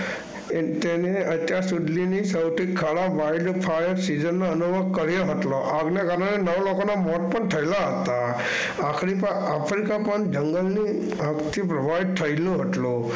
એ તેને અત્યાર સુધીની સૌથી ખરાબ હતો. આગના કારણે નવ લોકોના મોત પણ થયેલા હતા. આફ્રિકા આફ્રિકા પણ જંગલની આગથી પ્રભાવિત થયેલું હતું.